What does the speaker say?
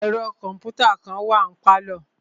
Ẹ̀ro kọ̀mpútà kàn wà ní pálọ̀.